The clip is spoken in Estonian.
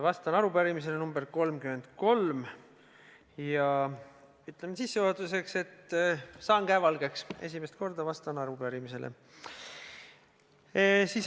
Vastan arupärimisele nr 33 ja ütlen sissejuhatuseks, et saan käe valgeks: esimest korda vastan arupärimisele.